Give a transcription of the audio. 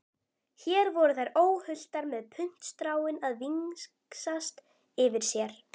Hér voru þær óhultar með puntstráin að vingsast yfir sér.